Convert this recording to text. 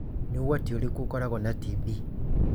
Nĩ ũgwati ũrĩkũ ũkoragwo na TB?